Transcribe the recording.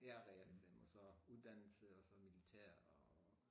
Ja realeksamen og så uddannelse og så militær